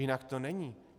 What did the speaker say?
Jinak to není.